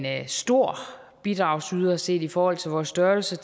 er en stor bidragsyder set i forhold til vores størrelse